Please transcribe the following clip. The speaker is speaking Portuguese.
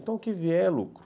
Então, o que vier é lucro.